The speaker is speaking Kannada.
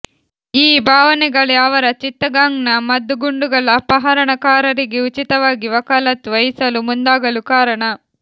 ಈ ಭಾವನೆಗಳೇ ಅವರ ಚಿತ್ತಗಾಂಗ್ನ ಮದ್ದುಗುಂಡುಗಳ ಅಪಹರಣಕಾರರಿಗೆ ಉಚಿತವಾಗಿ ವಕಾಲತ್ತು ವಹಿಸಲು ಮುಂದಾಗಲು ಕಾರಣ